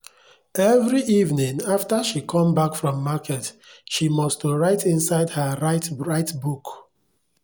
every evening after she come back from market she must to write inside her write write book.